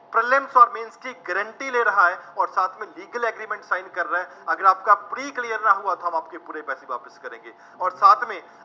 prelim mains ਕੀ guarantee ਲੇ ਰਹਾ ਹੈ, ਅੋਰ ਸਾਥ ਮੇਂ legal agreement sign ਕਰ ਰਹਾ ਹੈ, ਅਗਰ ਆਪਕਾ pre ਨਾ ਹੂਆ ਤੋਂ ਹਮ ਆਪਕੇ ਪੂਰੇ ਪੈਸੇ ਵਾਪਸ ਕਰੇਂਗੇ ਅੋਰ ਸਾਥ